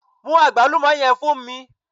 Mú àgbálùmó yẹn fún mi